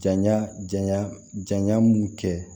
Janya janya janya mun kɛ